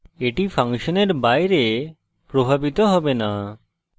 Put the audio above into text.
এটি ফাংশনের বাইরে প্রভাবিত হবে না